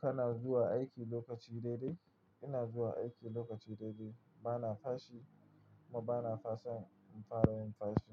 Kana zuwa aiki lokaci daidai? Ina zuwa aiki lokaci daidai, bana fashi kuma bana fasan in fara yin fashi.